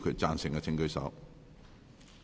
贊成的請舉手。